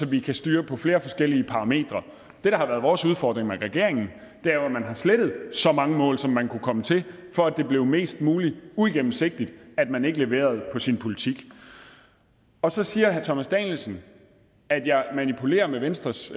vi kan styre på flere forskellige parametre det der har været vores udfordring i regeringen er jo at man har slettet så mange mål som man kunne komme til for at det blev mest muligt uigennemsigtigt at man ikke leverede på sin politik og så siger herre thomas danielsen at jeg manipulerer med venstres